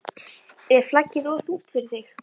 Er flaggið of þungt fyrir þig???